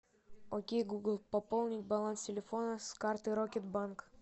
окей гугл пополнить баланс телефона с карты рокет банк